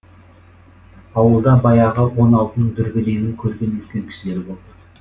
ауылда баяғы он алтының дүрбелеңін көрген үлкен кісілер болды